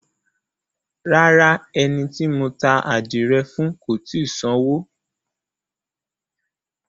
Rárá, ẹni tí mo ta ádìrẹ fún ò tì í sanwó.